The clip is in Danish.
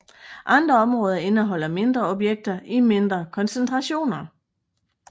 Andre områder indeholder mindre objekter i mindre koncentrationer